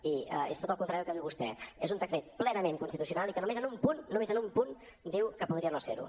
i és tot el contrari del que diu vostè és un decret plenament constitucional i que només en un punt només en un punt diu que podria no ser ho